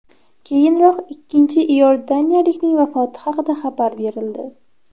Keyinroq ikkinchi iordaniyalikning vafoti haqida xabar berildi.